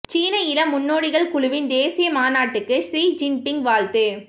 சீன இளம் முன்னோடிகள் குழுவின் தேசிய மாநாட்டுக்கு ஷி ஜின்பிங் வாழ்த்து